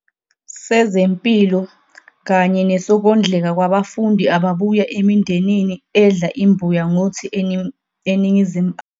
sezempilo kanye nesokondleka kwabafundi ababuya emindenini edla imbuya ngothi eNingizimu Afrika.